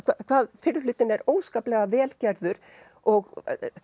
hvað fyrri hlutinn er óskaplega vel gerður og